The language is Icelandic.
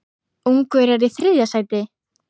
Ungverjar í þriðja sæti?